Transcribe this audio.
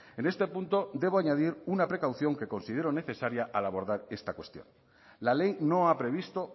en este punto debo añadir una precaución que considero necesaria al abordar esta cuestión la ley no ha previsto